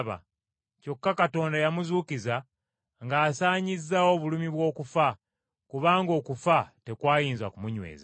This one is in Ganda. Kyokka Katonda yamuzuukiza ng’asaanyizaawo obulumi bw’okufa, kubanga okufa tekwayinza kumunyweza.